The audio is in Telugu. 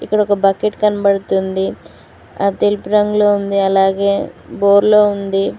ఇక్కడొక బకెట్ కనబడుతుంది అద్ తెలుపు రంగులో ఉంది అలాగే బోర్లో ఉంది.